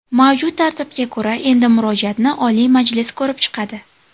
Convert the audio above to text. Mavjud tartibga ko‘ra, endi murojaatni Oliy Majlis ko‘rib chiqadi.